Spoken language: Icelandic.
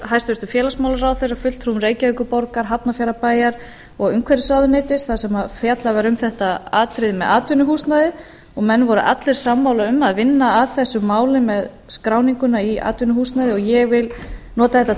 hæstvirtum félagsmálaráðherra fulltrúum reykjavíkurborgar hafnarfjarðarbæjar og umhverfisráðuneytis þar sem fjallað um þetta atriði með atvinnuhúsnæði og menn voru allir sammála um það að vinna að þessum málum með skráninguna í atvinnuhúsnæði og ég vil nota þetta